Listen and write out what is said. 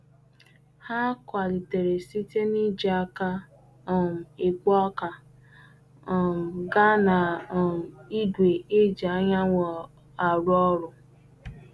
Ha kwalitere site n'iji aka um ekpo ọka um gaa na um igwe e ji anyanwụ arụ ọrụ.